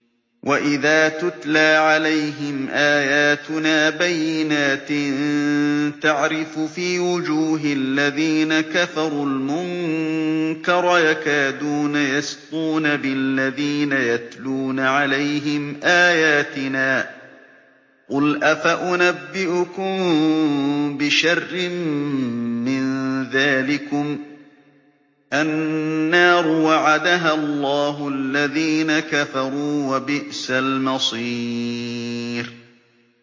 وَإِذَا تُتْلَىٰ عَلَيْهِمْ آيَاتُنَا بَيِّنَاتٍ تَعْرِفُ فِي وُجُوهِ الَّذِينَ كَفَرُوا الْمُنكَرَ ۖ يَكَادُونَ يَسْطُونَ بِالَّذِينَ يَتْلُونَ عَلَيْهِمْ آيَاتِنَا ۗ قُلْ أَفَأُنَبِّئُكُم بِشَرٍّ مِّن ذَٰلِكُمُ ۗ النَّارُ وَعَدَهَا اللَّهُ الَّذِينَ كَفَرُوا ۖ وَبِئْسَ الْمَصِيرُ